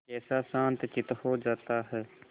कैसा शांतचित्त हो जाता है